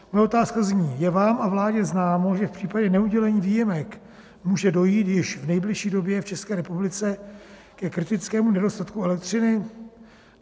Moje otázka zní: Je vám a vládě známo, že v případě neudělení výjimek může dojít již v nejbližší době v České republice ke kritickému nedostatku elektřiny?